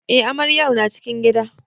Eh amaryar na cikin gida.